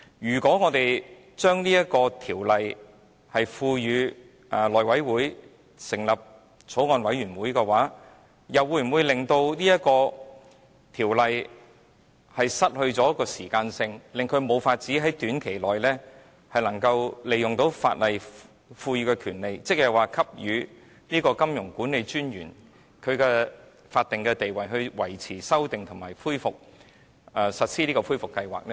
如果我們把《條例草案》付委內務委員會成立的法案委員會審議，又會否令法例不能發揮適時的效用，因而無法在短期內利用法例賦予的權利，即給予金融管理專員法定權力，以維持、修訂或實施恢復計劃呢？